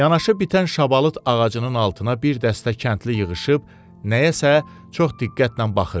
Yanaşı bitən şabalıt ağacının altına bir dəstə kəndli yığışıb, nəyəsə çox diqqətlə baxırdı.